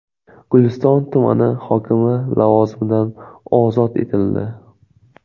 Guliston tumani hokimi lavozimidan ozod etildi.